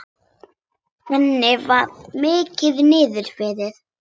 Henni var mikið niðri fyrir.